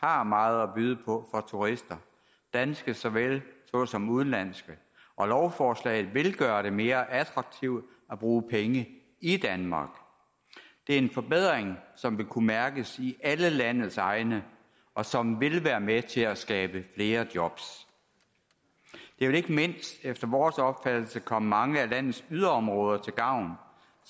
har meget at byde på for turister danske såvel som udenlandske og lovforslaget vil gøre det mere attraktivt at bruge penge i danmark det er en forbedring som vil kunne mærkes i alle landets egne og som vil være med til at skabe flere jobs det vil ikke mindst efter vores opfattelse komme mange af landets yderområder til gavn